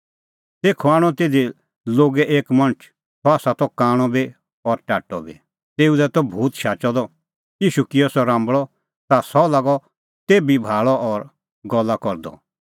तेखअ आणअ तिधी लोगै एक मणछ सह त कांणअ बी और टाट्टअ बी तेऊ दी त भूत शाचअ द ईशू किअ सह राम्बल़अ ता सह लागअ तेभी भाल़अ और गल्ला करदअ